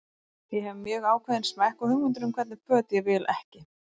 Ég hef mjög ákveðinn smekk og hugmyndir um hvernig föt ég vil ekki.